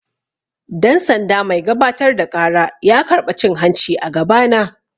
Dan-sanda mai gabatar da ƙara ya karɓa cin-hanci a gaba na.